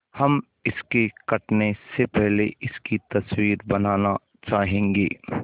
हम इसके कटने से पहले इसकी तस्वीर बनाना चाहेंगे